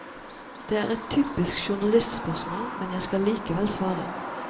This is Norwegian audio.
Det er et typisk journalistspørsmål, men jeg skal likevel svare.